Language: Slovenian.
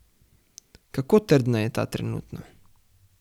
Kako trdna je ta trenutno?